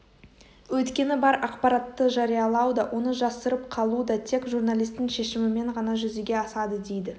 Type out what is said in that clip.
өйткені бар ақпаратты жариялау да оны жасырып қалу да тек журналистің шешімімен ғана жүзеге асады дейді